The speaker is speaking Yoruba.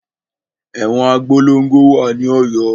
Ẹ̀wọn Abolongo wà ní Ọ̀yọ́.